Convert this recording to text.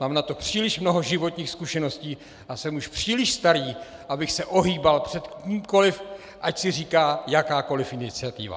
Mám na to příliš mnoho životních zkušeností a jsem už příliš starý, abych se ohýbal před kýmkoliv, ať si říká jakákoliv iniciativa!